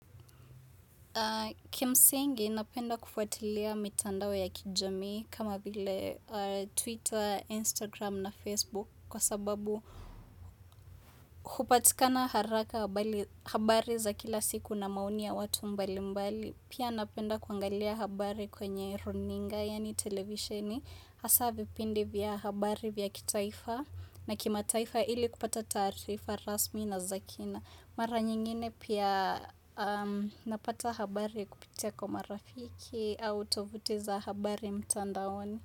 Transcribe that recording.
Kimsingi napenda kufuatilia mitandao ya kijami kama vile Twitter, Instagram na Facebook kwa sababu kupatikana haraka habari za kila siku na maoni ya watu mbali mbali. Pia napenda kuangalia habari kwenye runinga yaani televisioni, hasa vipindi vya habari vya kitaifa na kimataifa ili kupata taarifa rasmi na za kina. Mara nyingine pia napata habari kupitia kwa marafiki au tovuti za habari mtandaoni.